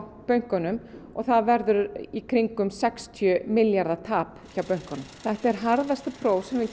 bönkunum og það verður í kringum sextíu milljarða tap hjá bönkunum þetta er harðasta próf sem við